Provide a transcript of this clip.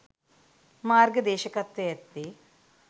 මාර්ග දේශකත්වය ඇත්තේ